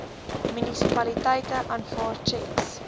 munisipaliteite aanvaar tjeks